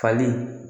Fali